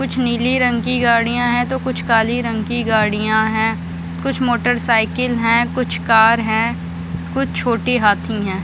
कुछ नीली रंग की गाड़ीयां है तो कुछ काली रंग की गाड़ीयां है कुछ मोटरसाइकिल है कुछ कार है कुछ छोटे हाथी है।